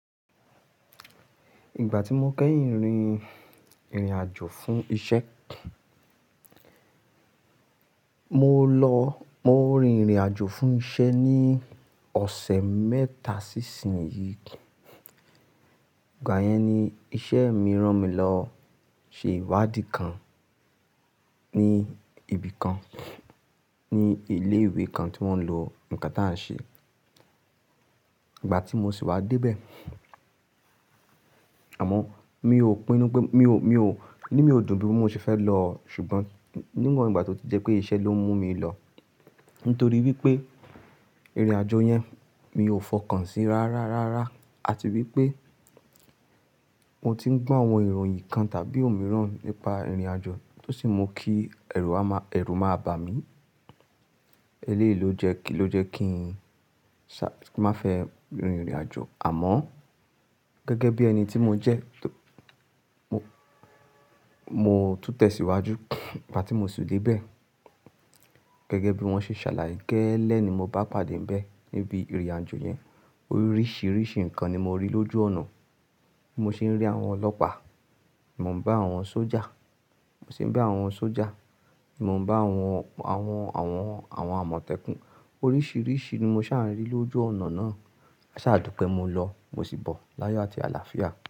Ìgbà tí mo kẹ́yìn rin ìrìn àjò fún iṣẹ́, mo lọ, mo rin ìrìn àjò fún iṣẹ́ ní ọ̀sẹ̀ mẹ́ta sí ìsín yìí. Ìgbà yẹn ni iṣẹ́ mi rán mi lọ mo ṣe ìwádìí kan ní ibì kan, ní ilé ìwé kan tí wọ́n ń lo ǹkan táa ń ṣe. Ìgbà tí mo sì wá dé bẹ́ẹ̀, àmọ́ mi ò pinnu pé, mi ò, mi ò, inu mi ò dùn bí mo ṣe fẹ́ lọ, ṣùgbọ́n níwọn ìgbà tí ó ti jẹ́ pé iṣẹ́ ló ń mú mi lọ. Nítorí wípé ìrìn àjò yẹn mi ò fọkàn sí rárá, rárá. Àti wípé mo ti ń gbọ́ àwọn ìròyìn kan tàbí òmíràn nípa ìrìn àjò tó sì mu kí ẹ̀rù, ẹ̀rù máa bà mí. Eléyìí ló jẹ́ kí, ló jẹ́ kí n ṣa, kí n má fẹ́ rin ìrìn àjò. Àmọ́ gẹ́gẹ́ bí ẹni tí mo jẹ́, mo mo tún tẹ̀ síwájú. Ìgbà tí mo sì dé bẹ́ẹ̀, gẹ́gẹ́ bí wọ́n ṣe ṣàlàyé gẹ́lẹ́ ni mo bá pàdé bẹ́ẹ̀ níbi ìrìn àjò yẹn. Oríṣiríṣi nǹkan ni mo rí lójú ọ̀nà. Mo sì ń rí àwọn ọlọ́pàá, mo ń bá àwọn sójà, mo sì ń bá àwọn sójà, mo ń bá àwọn, àwọn, àwọn, àwọn àmọ̀tẹ́kùn. Oríṣiríṣi ni mo ṣà ń rí lójú ọ̀nà náà. Asàdùpẹ́ mo lọ, mo sì bọ̀ láyọ̀ àti àlàáfíà.